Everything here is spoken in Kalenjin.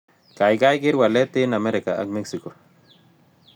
Kaigai keer walet eng' amerika ak mexico